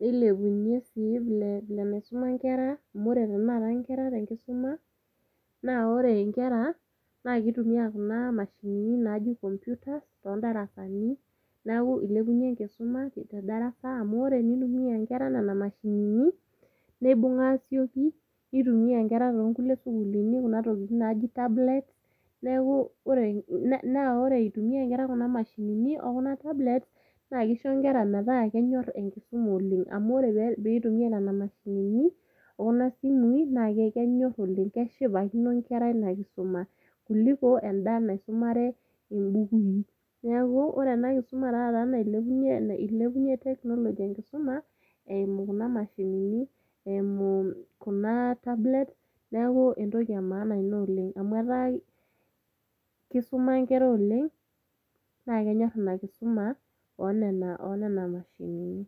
nilepunyie sii nile enaisuma inkera amu ore tenakata inkera tenkisuma naa ore inkera naa kitumia kuna mashinini naji computers tondarasani naku ilepunyie enkisuma te darasa amu ore enitumia inkera nana mashinini neibung asioki nitumia inkera tonkuli sukuluni kuna tokiting naji [cstablets neeku ore, naa ore itumia inkera kuna mashinini okuna tablets naa kisho inkera metaa kenyorr enkisuma oleng amu ore pitumia nena mashinini okuna simui naa kenyorr oleng keshipakino inkera ina kisuma kuliko enda naisumare imbukui niaku ore ena kisuma taata nailepunyie ilepunyie technology enkisuma eimu kuna mashinini eimu kuna tablets neeku entoki e maana ina oleng amu etaa kisuma inkera oleng naa kenyorr ina kisuma onena nena mashinini.